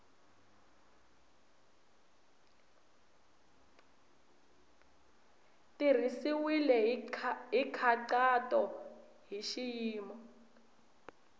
tirhisiwile hi nkhaqato hi xiyimo